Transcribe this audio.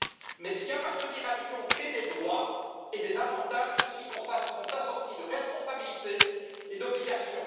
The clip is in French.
Mais si appartenir à l'Union crée des droits et des avantages, ceux ci sont assortis de responsabilités et d'obligations.